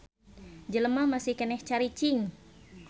Jelema masih keneh caricing.